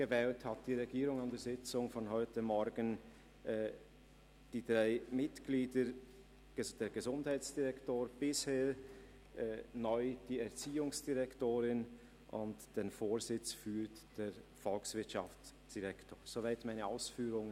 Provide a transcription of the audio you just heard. Die Regierung hat an der Sitzung von heute Morgen die drei Mitglieder dieser Delegation neu gewählt: den Gesundheitsdirektor, die Erziehungsdirektorin und den Volkswirtschaftsdirektor als Vorsitzenden.